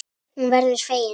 Hún verður fegin.